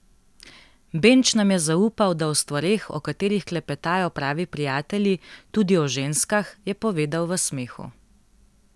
Benč nam je zaupal, da o stvareh, o katerih klepetajo pravi prijatelji, tudi o ženskah, je povedal v smehu.